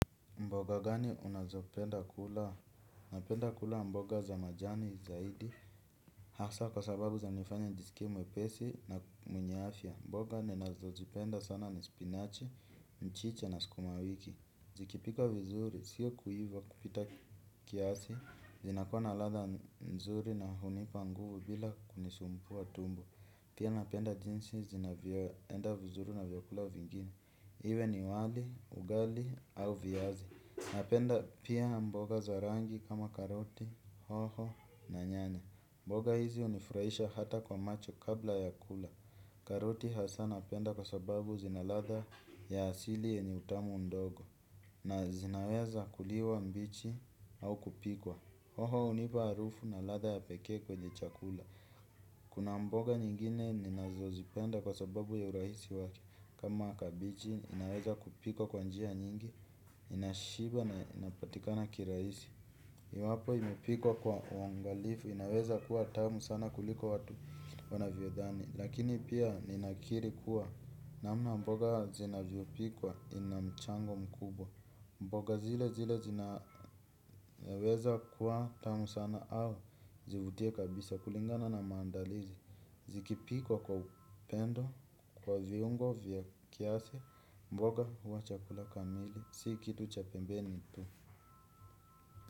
Mboga gani unazopenda kula napenda kula mboga za majani zaidi, hasa kwa sababu zanifanya njisikie mwepesi na mwenye afya. Mboga ninazozipenda sana ni spinach, mchicha na sukumawiki. Zikipikwa vizuri, sio kuiva kupita kiasi, zinakuwa na ladha nzuri na hunipa nguvu bila kunisumbua tumbo. Pia napenda jinsi zinavyo enda vizuri na vyakula vingine. Iwe ni wali, ugali au viazi. Napenda pia mboga za rangi kama karoti, hoho na nyanya. Mboga hizi hunifurahisha hata kwa macho kabla ya kula. Karoti hasa napenda kwa sababu zina ladha ya asili yenye utamu ndogo. Na zinaweza kuliwa mbichi au kupikwa. Hoho hunipa harufu na ladha ya pekee kwenye chakula. Kuna mboga nyingine ninazo zipenda kwa sababu ya urahisi wake. Kama kabenji inaweza kupikwa kwa njia nyingi, inashiba na inapatika na kirahisi. Iwapo imepikwa kwa uangalifu, inaweza kuwa tamu sana kuliko watu wanavyo dhani. Lakini pia ninakiri kuwa, namna mboga zinavyobpikwa ina mchango mkubwa. Mboga zile zile zinaweza kuwa tamu sana au zivutie kabisa kulingana na maandalizi. Zikipikwa kwa upendo, kwa viungo, vya kiasi, mboga huwa chakula kamili, si kitu cha pembeni tu.